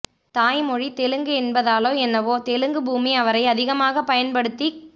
தாய்மொழி தெலுங்கு என்பதாலோ என்னவோ தெலுங்கு பூமி அவரை அதிகமாகப் பயன்படுத்திக்